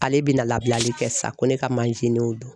Ale bɛna labilali kɛ sa, ko ne ka manjiniw dun.